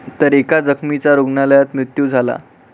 तर एका जखमीचा रुग्णालयात मृत्यू झाला.